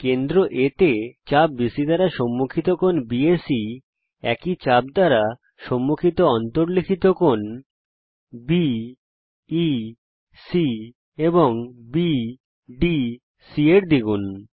কেন্দ্র A তে চাপ বিসি দ্বারা সম্মুখিত কোণ বিএসি একই চাপ দ্বারা সম্মুখিত অন্তর্লিখিত কোণ বিইসি এবং বিডিসি এর দ্বিগুণ